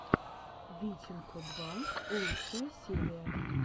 витекно два лучшая серия